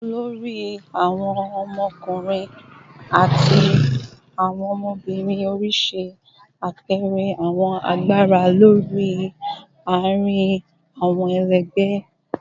olori awon ọkunrin ati ọmọbirin ori ṣe apẹẹrẹ awọn agbara olori laarin awọn ẹlẹgbẹ